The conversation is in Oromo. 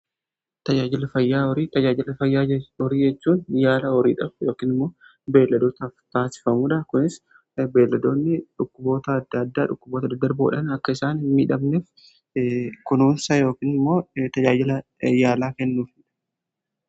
tajaajila fayyaa horii, tajaajila fayyaa horii jachuun yaala horiidhaaf yookin immoo beeladootaaf taasifamuudha. kunis beeladoonni dhukkuboota adda addaa dhukkuboota adarboodhan akka isaanin miidhamneef kunuunsa yookinimmoo tajaajila yaalaa kennuufidha.